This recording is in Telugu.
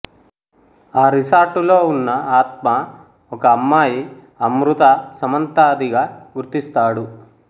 ఆ రిసార్టులో ఉన్న ఆత్మ ఒక అమ్మాయి అమృత సమంత దిగా గుర్తిస్తాడు